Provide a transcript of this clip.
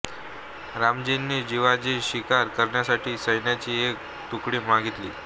रामजींनी जावजीची शिकार करण्यासाठी सैन्याची एक तुकडी मागितली